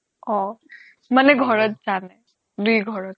অ' মানে ঘৰত জানে দুই ঘৰত